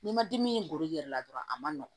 N'i ma dimi golo i yɛrɛ la dɔrɔn a ma nɔgɔn